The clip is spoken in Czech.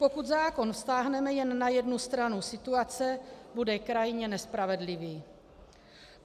Pokud zákon vztáhneme jen na jednu stranu situace, bude krajně nespravedlivý.